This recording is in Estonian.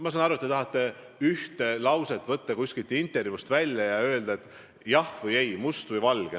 Ma saan aru, et te tahate üht lauset kuskilt intervjuust välja võtta ja paluda mul öelda jah või ei, must või valge.